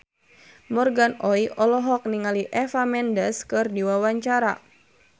Morgan Oey olohok ningali Eva Mendes keur diwawancara